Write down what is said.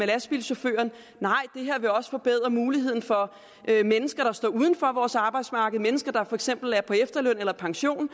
lastbilchauffør nej det her vil også forbedre muligheden for mennesker der står uden for vores arbejdsmarked altså mennesker der for eksempel er på efterløn eller pension